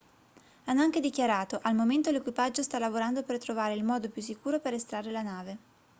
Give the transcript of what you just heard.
hanno anche dichiarato al momento l'equipaggio sta lavorando per trovare il modo più sicuro per estrarre la nave